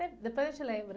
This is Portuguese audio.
Depois a gente lembra.